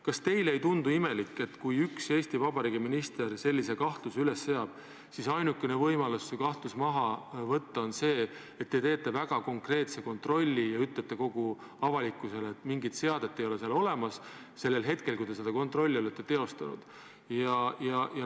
Kas teile ei tundu imelik, et kui üks Eesti Vabariigi minister sellise kahtluse üles seab, siis ainukene võimalus see kahtlus maha võtta on see, et te teete väga konkreetse kontrolli ja ütlete avalikkusele, et mingit seadet ei olnud seal sellel hetkel, kui te seda kontrollisite?